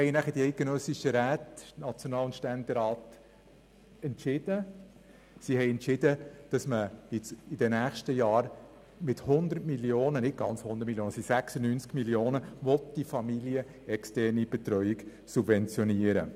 Die eidgenössischen Räte, National- und Ständerat, entschieden denn auch, die familienexterne Betreuung in den nächsten Jahren mit 96 Mio. Franken zu subventionieren.